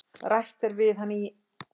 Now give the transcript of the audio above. Rætt er við hann í